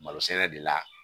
Malo sɛnɛ de la